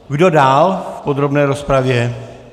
Kdo dál v podrobné rozpravě?